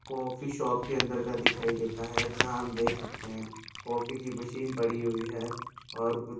coffee shop के अंदर का दिखाई देता है जहां हम देख सकते हैं कॉफी की मशीन पड़ी हुई है और कुछ --